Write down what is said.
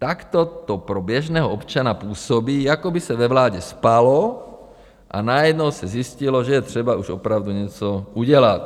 Takto to pro běžného občana působí, jako by se ve vládě spalo a najednou se zjistilo, že je třeba už opravdu něco udělat.